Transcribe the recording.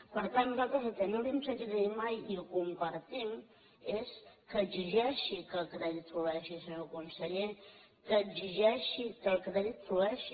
per tant nosaltres el que no li hem sentit a dir mai i ho compartim és que exigeixi que el crèdit flueixi senyor conseller que exigeixi que el crèdit flueixi